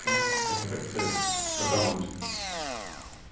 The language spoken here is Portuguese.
Você foi, você foi para onde?